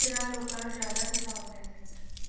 ਤਰ੍ਹਾਂ ਲੋਕਾਂ ਨੂੰ ਜ਼ਿਆਦਾ ਪ਼੍ਰਭਾਵ ਪੈ ਸਕਦਾ ਸੀ।